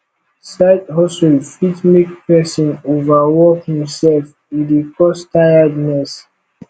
side hustle fit make persin over work himself e de cause tiredness